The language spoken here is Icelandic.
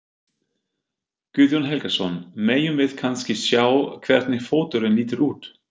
Guðjón Helgason: Megum við kannski sjá hvernig fóturinn lítur út?